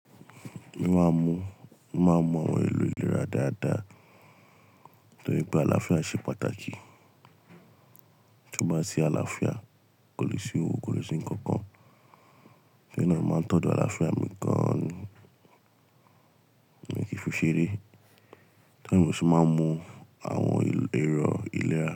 Mo máa ń mu, mo máa ń mu àwọn èlò ìlera dáadáa tó rí pé àlàáfíà ṣe pàtàkì. Tí o bá sí àlàáfíà, kò lè sì òwò, kò lè sì nǹkan kan. Torí ná mo máa ń tọ́jú àlàáfíà mi gan an ni, mi kí n fi ṣeré. To ri e mo ṣe máa ń mu àwọn èrò ìlera.